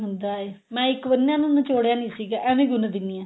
ਹੁੰਦਾ ਏ ਮੈ ਇੱਕ ਵਾਰ ਨਾ ਇਹਨੂੰ ਨਚੋੜਿਆ ਨਹੀਂ ਸੀਗਾ ਐਵੇਂ ਹੀ ਗੁੰਨ ਦਿੰਦੀ ਆਂ